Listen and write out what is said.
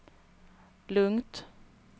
lugnt